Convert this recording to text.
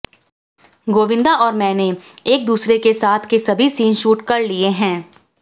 गोविंदा और मैंने एक दूसरे के साथ के सभी सीन शूट कर लिये हैं